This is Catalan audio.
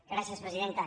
gràcies presidenta